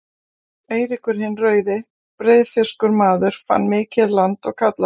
Eiríkur hinn rauði, breiðfirskur maður, fann mikið land og kallaði